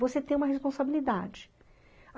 Você tem uma responsabilidade.